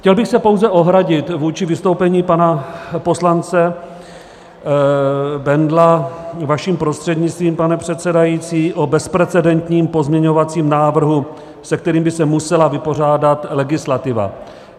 Chtěl bych se pouze ohradit vůči vystoupení pana poslance Bendla, vaším prostřednictvím, pane předsedající, o bezprecedentním pozměňovacím návrhu, se kterým by se musela vypořádat legislativa.